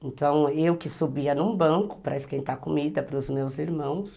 Então, eu que subia num banco para esquentar comida para os meus irmãos.